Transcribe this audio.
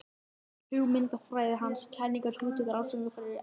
Hugmyndafræði hans, kenningar, hugtök og rannsóknaraðferðir eru enn í notkun.